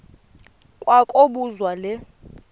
kwa kobuzwa le